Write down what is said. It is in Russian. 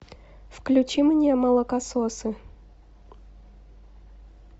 включи мне молокососы